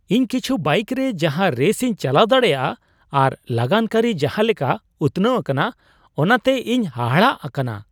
ᱤᱧ ᱠᱤᱪᱷᱩ ᱵᱟᱭᱤᱠ ᱨᱮ ᱡᱟᱦᱟᱸ ᱨᱮᱥ ᱤᱧ ᱪᱟᱞᱟᱣ ᱫᱟᱲᱮᱭᱟᱜᱼᱟ ᱟᱨ ᱞᱟᱜᱟᱱ ᱠᱟᱹᱨᱤ ᱡᱟᱦᱟᱸ ᱞᱮᱠᱟ ᱩᱛᱱᱟᱹᱣ ᱟᱠᱟᱱᱟ ᱚᱱᱟᱛᱮ ᱤᱧ ᱦᱟᱦᱟᱲᱟᱜ ᱟᱠᱟᱱᱟ ᱾